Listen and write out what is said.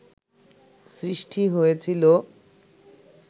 সৃষ্টি হয়েছিল